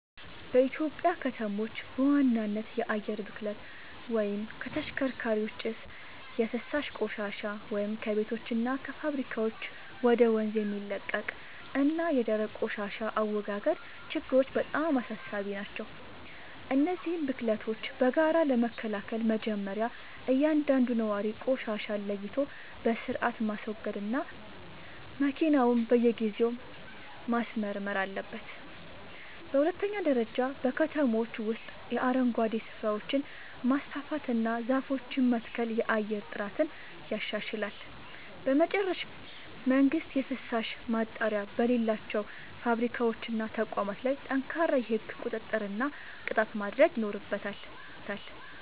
በኢትዮጵያ ከተሞች በዋናነት የአየር ብክለት (ከተሽከርካሪዎች ጭስ)፣ የፍሳሽ ቆሻሻ (ከቤቶችና ከፋብሪካዎች ወደ ወንዝ የሚለቀቅ) እና የደረቅ ቆሻሻ አወጋገድ ችግሮች በጣም አሳሳቢ ናቸው። እነዚህን ብክለቶች በጋራ ለመከላከል መጀመርያ እያንዳንዱ ነዋሪ ቆሻሻን ለይቶ በሥርዓት ማስወገድና መኪናውን በየጊዜው ማስመርመር አለበት። በሁለተኛ ደረጃ በከተሞች ውስጥ የአረንጓዴ ስፍራዎችን ማስፋፋትና ዛፎችን መትከል የአየር ጥራትን ያሻሽላል። በመጨረሻም መንግሥት የፍሳሽ ማጣሪያ በሌላቸው ፋብሪካዎችና ተቋማት ላይ ጠንካራ የሕግ ቁጥጥርና ቅጣት ማድረግ ይኖርበታል።